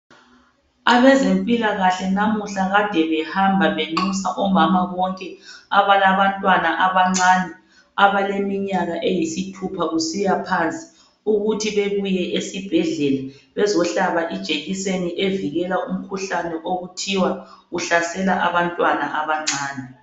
Abezempilakahle namuhla kade behamba benxusa omama bonke abalabantwana abancane abaleminyaka eyisithupha kusiya phansi ukuthi bebuye esibhedlela bezohlaba ijekiseni evikela umkhuhlane okuthiwa uhlasela abantwana abancane.